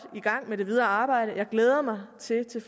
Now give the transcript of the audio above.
i gang med det videre arbejde jeg glæder mig til